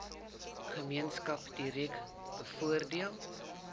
gemeenskap direk bevoordeel